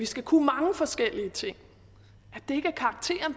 skal kunne mange forskellige ting